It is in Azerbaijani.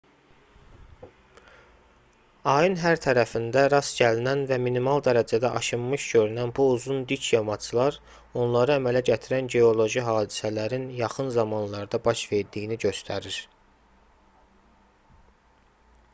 ayın hər tərəfində rast gəlinən və minimal dərəcədə aşınmış görünən bu uzun dik yamaclar onları əmələ gətirən geoloji hadisələrin yaxın zamanlarda baş verdiyini göstərir